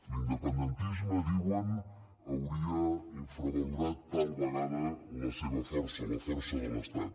l’independentisme diuen hauria infravalorat tal vegada la seva força la força de l’estat